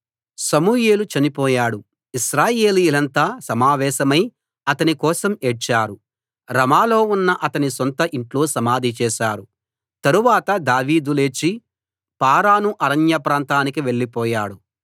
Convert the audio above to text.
సమూయేలు చనిపోయాడు ఇశ్రాయేలీయులంతా సమావేశమై అతని కోసం ఏడ్చారు రమాలో ఉన్న అతని సొంత ఇంట్లో సమాధి చేశారు తరువాత దావీదు లేచి పారాను అరణ్య ప్రాంతానికి వెళ్లిపోయాడు